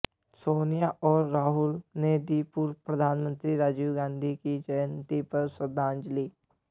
सोनिया और राहुल ने दी पूर्व प्रधानमंत्री राजीव गांधी की जयंती पर उन्हें श्रद्धांजलि